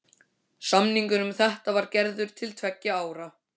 Samningur um þetta var gerður til tveggja ára.